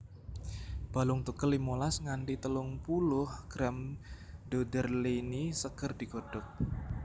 Balung tugel limolas nganthi telung puluh gram doederleinii seger digodhog